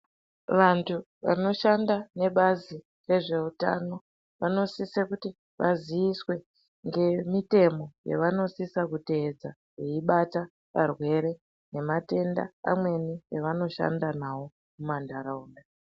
Vantu vanoshanda nebazi rezveutano vanosise kuti vaziiswe ngemitemo yavanosisa kuteedza veibata varwere nematenda amweni evanoshanda nawo mumantaraunda.